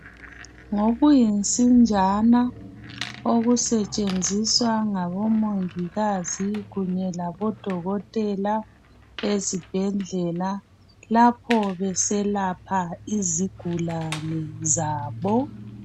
Ngokuyinsinjana okusetsheziswa ngabomongikazi kunye labodokotela ezibhedlela lapho beselapha izigulane zabo.